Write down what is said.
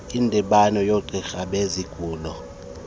indibano yoogqirha bezigulo